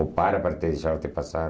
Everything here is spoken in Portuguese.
Ou para para te deixar-te passar.